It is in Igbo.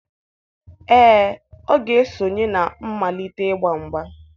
Ee, ọ ga-esonye na mmalite igba mgba.